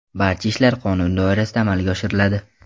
Barcha ishlar qonun doirasida amalga oshiriladi.